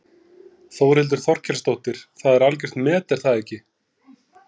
Þórhildur Þorkelsdóttir: Það er algjört met er það ekki?